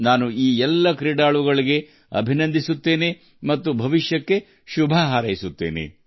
ನಾನು ಈ ಎಲ್ಲ ಆಟಗಾರರನ್ನು ಅಭಿನಂದಿಸುತ್ತೇನೆ ಮತ್ತು ಉತ್ತಮ ಭವಿಷ್ಯಕ್ಕಾಗಿ ಅವರಿಗೆ ಶುಭ ಹಾರೈಸುತ್ತೇನೆ